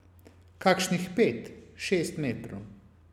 Kakšnih pet, šest metrov.